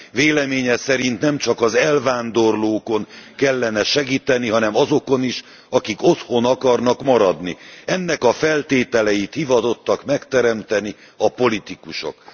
Véleménye szerint nemcsak az elvándorlókon kellene segíteni, hanem azokon is, akik otthon akarnak maradni. Ennek a feltételeit hivatottak megteremteni a politikusok.